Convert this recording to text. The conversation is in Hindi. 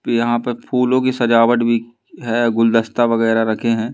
यहां पर फूलों की सजावट भी है गुलदस्ता वगैरह रखे हैं।